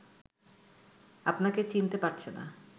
আপনাকে চিনতে পারছে না